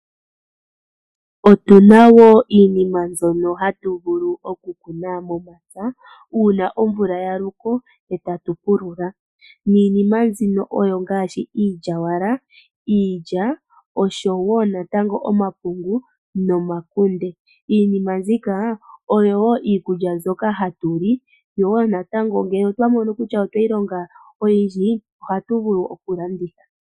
Otuna iinima mbyono hatu vulu okukuna momapya uuna omvula yaloke etatu pulula niinima mbino ongaashi iilyawala, iilya oshowoo natango omapungu nomakunde. Iinima mbika oyo woo iikulya mbyoka hatu li , yo wo natango ngele twa mono kutya otweyi longa oyindji ohatu vulu okulanditha.